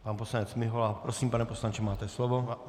Pan poslanec Mihola, prosím, pane poslanče, máte slovo.